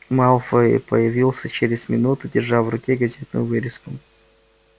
малфой появился через минуту держа в руке газетную вырезку